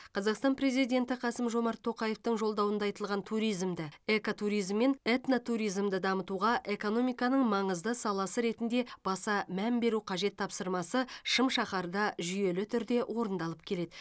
қазақстан президенті қасым жомарт тоқаевтың жолдауында айтылған туризмді экотуризм мен этнотуризмді дамытуға экономиканың маңызды саласы ретінде баса мән беру қажет тапсырмасы шым шаһарда жүйелі түрде орындалып келеді